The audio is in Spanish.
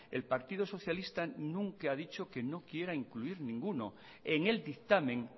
el partido socialista nunca ha dicho que no quiera incluir ninguno en el dictamen